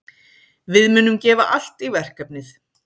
Við munum gefa allt í verkefnið.